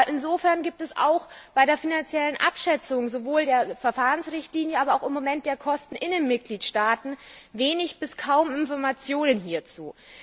Insofern gibt es auch bei der finanziellen Abschätzung sowohl der Verfahrensrichtlinie als auch bei den Kosten in den Mitgliedstaaten wenig bis kaum Informationen hierzu.